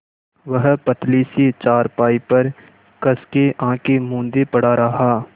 वह पतली सी चारपाई पर कस के आँखें मूँदे पड़ा रहा